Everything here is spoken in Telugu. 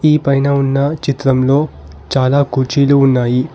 ఈ పైన ఉన్న చిత్రంలో చాలా కుర్చీలు ఉన్నాయి.